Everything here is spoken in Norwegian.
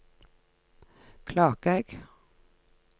Klakegg